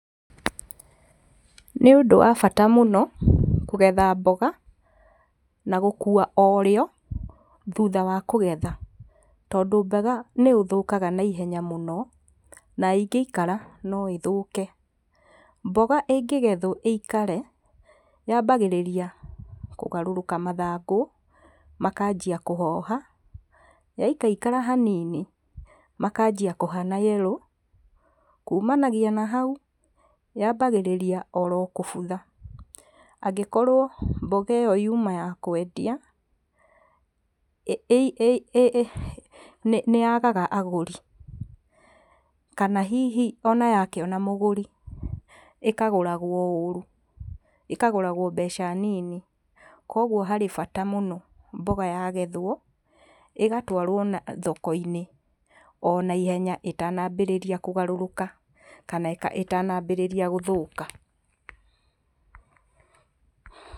Nĩ ũndũ wa bata mũno kũgetha mboga na gũkua o rĩo thutha wa kũgetha. Tondũ mboga nĩ ĩthũkaga naihenya mũno na ĩngĩikara no ĩthũke. Mboga ĩngĩgethwo ĩikare yambagĩrĩria kũgarũrũka mathangũ makanjia kũhoha. Yaikaikara hanini makanjia kũhana yerũ, kumanagia na hau, yambagĩrĩrio oro kũbutha. Angĩkorwo mboga ĩyo yuma ya kwendia, nĩ yagaga agũri, kana hihi ona yakĩona mũgũri, ĩkagũragwo ũru ĩkagũrawo mbeca nini. Kuoguo harĩ bata mũno mboga yagethwo ĩgatwarwo thoko-inĩ, o naihenya ĩtanambĩrĩria kũgarũrũka kana ĩtanambĩrĩria gũthũka.